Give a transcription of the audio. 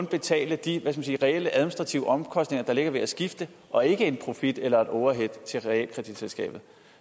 betale de reelle administrative omkostninger der ligger i at skifte og ikke en profit eller et overhead til realkreditselskabet